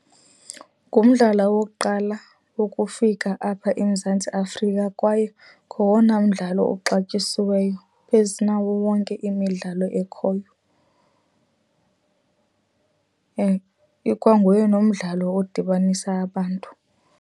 Ngumdlalo wokuqala ukufika apha eMzantsi Afrika kwaye ngowona mdlalo uxatyiweyo phezu nawo wonke imidlalo ekhoyo. Ikwanguye nomdlalo odibanisa abantu.